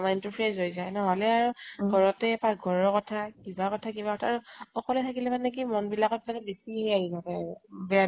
mind তো fresh হৈ যায়। নহলে আৰু ঘৰতে পাক ঘৰৰ কথা কিবা কথা কিবা কথা আৰু অকলে থাকিলে মানে কি মন বিলাকত মানে বেছি হেই আহি থাকে আৰু। বেয়া বেয়া